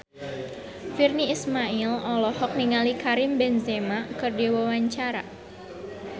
Virnie Ismail olohok ningali Karim Benzema keur diwawancara